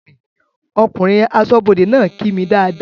Ọkùnrin aṣọ́bọdè náà kí mi dáadáa